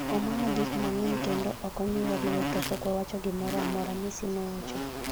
omawa gik mang'eny, kendo ok omiwa lwor to pok wawacho gimoro amora,'Messi nowacho